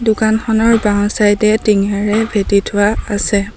দোকানখনৰ বাওঁ চাইদ এ টিঙেৰে ভেটি থোৱা আছে।